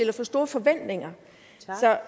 har for store forventninger